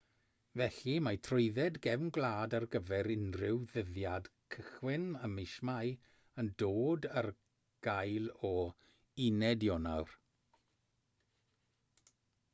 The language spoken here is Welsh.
felly mae trwydded gefn gwlad ar gyfer unrhyw ddyddiad cychwyn ym mis mai yn dod ar gael o 1 ionawr